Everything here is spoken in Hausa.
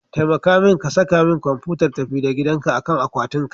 Taimaka min ka saka min kwamfutar tafi-da-gidanka akan akwatin kari.